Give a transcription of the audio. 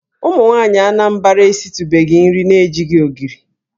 Ụmụnwaanyị Anambra esitụbeghị nri na-ejighị ogiri.